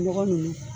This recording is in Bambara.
Nɔgɔ nunnu